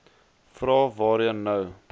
vrae waarheen nou